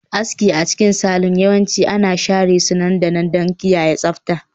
Aski a cikin salon yawanci ana share su nan da nan don kiyaye tsabta